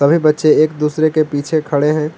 सभी बच्चे एक दूसरे के पीछे खड़े हैं।